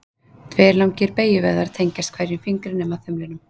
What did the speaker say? Tveir langir beygjuvöðvar tengjast hverjum fingri nema þumlinum.